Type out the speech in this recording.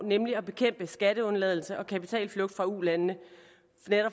nemlig at bekæmpe skatteundladelse og kapitalflugt fra ulandene